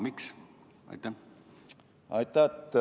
Miks?